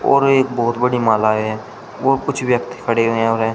और ये एक बहुत बड़ी माला है और कुछ व्यक्ति खड़े हैं।